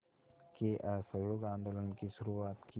के असहयोग आंदोलन की शुरुआत की